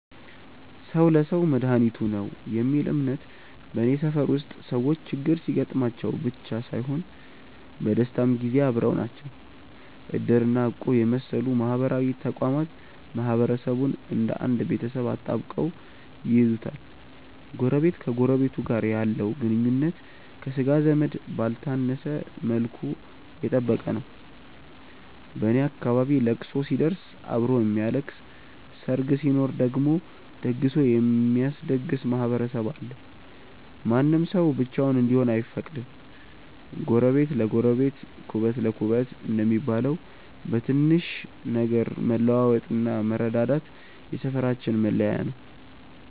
"ሰው ለሰው መድኃኒቱ ነው" የሚል እምነት በኔ ሰፈር ውስጥ ሰዎች ችግር ሲገጥማቸው ብቻ ሳይሆን በደስታም ጊዜ አብረው ናቸው። እድር እና እቁብ የመሰሉ ማህበራዊ ተቋማት ማህበረሰቡን እንደ አንድ ቤተሰብ አጣብቀው ይይዙታል። ጎረቤት ከጎረቤቱ ጋር ያለው ግንኙነት ከሥጋ ዘመድ ባልተነሰ መልኩ የጠበቀ ነው። በኔ አካባቢ ለቅሶ ሲደርስ አብሮ የሚያለቅስ፣ ሰርግ ሲኖር ደግሞ ደግሶ የሚያስደግስ ማህበረሰብ አለ። ማንም ሰው ብቻውን እንዲሆን አይፈቀድም። "ጎረቤት ለጎረቤት ኩበት ለኩበት" እንደሚባለው፣ በትንሽ ነገር መለዋወጥና መረዳዳት የሰፈራችን መለያ ነው።